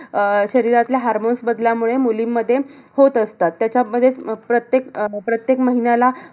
अह शरीरातल्या hormones बदलामुळे मुलींमध्ये होत असतात. त्याचचमध्ये अह प्रत्येक अं प्रत्येक महिन्याला,